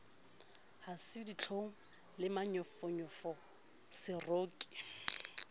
ha se ditlhong le manyofonyofoseroki